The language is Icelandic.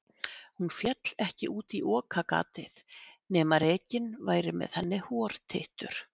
hún féll ekki út í okagatið nema rekinn væri með henni hortittur